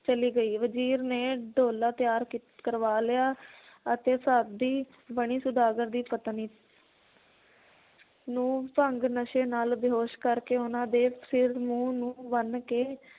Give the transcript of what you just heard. ਚਲੀ ਗਈ ਵਜ਼ੀਰ ਨੇ ਡੋਲਾ ਤਿਆਰ ਕੀ ਕਰਵਾ ਲਿਆ ਅਤੇ ਬਣੀ ਸੌਦਾਗਰ ਦੀ ਪਤਨੀ ਨੂੰ ਭੰਗ ਨਸ਼ੇ ਨਾਲ ਬੇਹੋਸ਼ ਕਰਕੇ ਉਹਨਾਂ ਦੇ ਸਿਰ ਮੂੰਹ ਨੂੰ ਬੰਨ ਕੇ